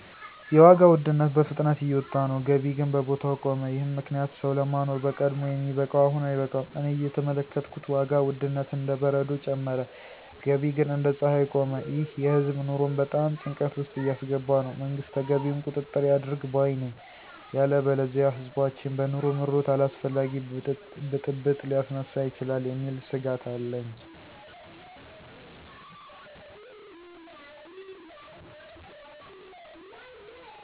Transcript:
የዋጋ ውድነት በፍጥነት እየወጣ ነው፣ ገቢ ግን በቦታው ቆመ፤ ይህም ምክንያት ሰው ለማኖር በቀድሞ የሚበቃው አሁን አይበቃም። እኔ እየተመለከትኩት ዋጋ ውድነት እንደ በረዶ ጨመረ፣ ገቢ ግን እንደ ፀሐይ ቆመ። ይህ የህዝብ ኑሮን በጣም ጭንቀት ውስጥ እያስገባ ነው። መንግስት ተገቢውን ቁጥጥር ያድርግ ባይ ነኝ። ያለበለዚያ ህዝባችን በኑሮ ምሮት አላስፈላጊ ብጥብጥ ሊያስነሳ ይችላል የሚል ስጋት አለኝ።